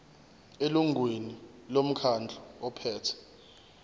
elungwini lomkhandlu ophethe